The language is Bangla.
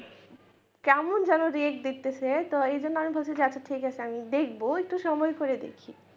যেন react দেখতেছে তো এই জন্য আমি ভাবছি যে আচ্ছা ঠিক আছে আমি দেখবো একটু সময় করে দেখি।